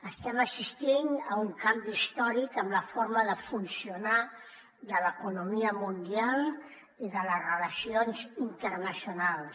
estem assistint a un canvi històric en la forma de funcionar de l’economia mundial i de les relacions internacionals